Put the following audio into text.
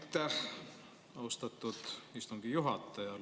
Aitäh, austatud istungi juhataja!